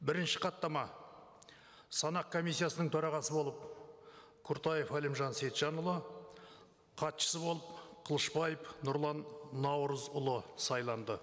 бірінші хаттама санақ комиссиясының төрағасы болып құртаев әлімжан сейітжанұлы хатшысы болып қылышбаев нұрлан наурызұлы сайланды